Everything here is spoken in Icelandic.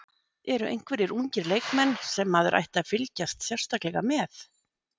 Eru einhverjir ungir leikmenn sem maður ætti að fylgjast sérstaklega með?